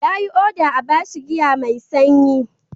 Ya yi oda a ba shi giya mai sanyi.